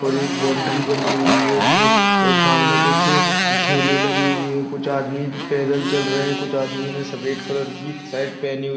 और एक बाउन्ड्री बनी हुई है। ज और सामने कुछ ठेले लगे हुए है। कुछ आदमी पैदल चल रहै है। कुछ आदमीयों ने सफेद कलर की शर्ट पहनी हुई है।